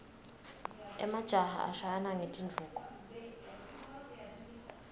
emajaha ashayana ngetinduku